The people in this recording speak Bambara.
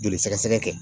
Joli sɛgɛsɛgɛ kɛ